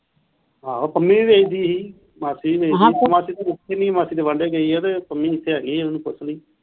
ਆਹੋ ਪੰਮੀ ਵੀ ਬੇਚਦੀ ਹੀ ਮਾਸੀ ਵੀ ਬੇਚਦੀ ਸੀ ਮਾਸੀ ਤੇ ਮਾਸੀ ਤੇ ਵਾਨਡੇ ਗਈ ਆ ਤੇ ਪੰਮੀ ਇੱਥੇ ਹੈਗੀ ਆ ਉਹਨੂੰ ਪੁੱਛਲੀ।